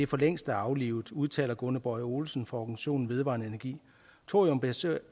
for længst er aflivet udtaler gunnar boye olesen fra organisationen vedvarendeenergi thoriumbaseret